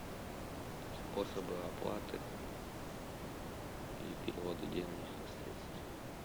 способы оплаты и переводы денежных средств